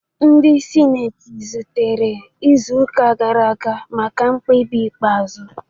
Ndị sineti zutere izu ụka gara aga maka mkpebi ikpeazụ